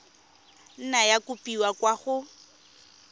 nna ya kopiwa kwa go